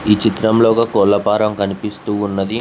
ఈ చిత్రంలో ఒక కోళ్ల ఫారం కనిపిస్తూ ఉన్నది.